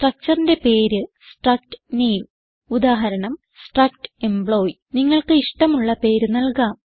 structureന്റെ പേര് strcut name ഉദാഹരണം struct employee നിങ്ങൾക്ക് ഇഷ്ടമുള്ള പേര് നല്കാം